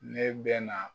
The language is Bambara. Ne bɛ na